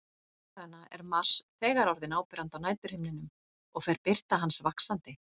Þessa dagana er Mars þegar orðinn áberandi á næturhimninum og fer birta hans vaxandi.